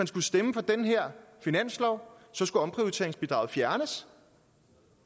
skulle stemme for den her finanslov skulle omprioriteringsbidrag fjernes